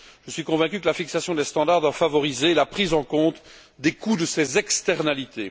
Je suis convaincu que la fixation des standards doit favoriser la prise en compte des coûts de ces externalités.